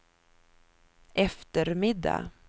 eftermiddag